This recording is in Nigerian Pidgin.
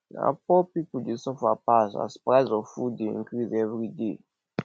na poor pipo dey suffer pass as price of food dey increase everyday